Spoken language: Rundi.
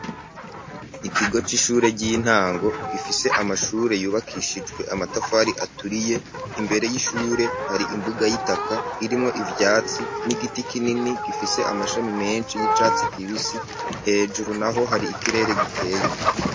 kigo c'ishure ry'intango gifise amashure yubakishijwe amatafari aturiye imbere y'ishure hari imbuga y'itaka irimwo ivyatsi n'igiti kinini gifise amashami menshi y'icatsi kibisi hejuru naho hari ikirere gikeye.